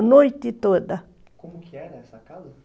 A noite toda. Como que era essa casa?